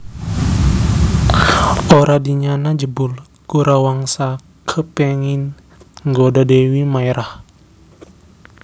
Ora dinyana jebul Gorawangsa kepéngin nggoda Dèwi Maérah